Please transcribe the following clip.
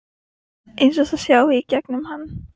Eins og það sjái í gegnum mann.